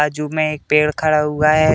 बाजु में एक पेड़ खड़ा हुआ है।